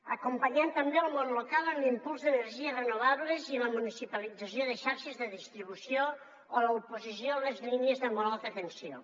acompanyar també el món local en l’impuls d’energies renovables i en la municipalització de xarxes de distribució o en l’oposició a les línies de molt alta tensió